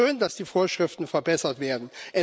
Es ist schön, dass die Vorschriften verbessert werden.